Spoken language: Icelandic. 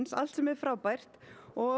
allt sem er frábært og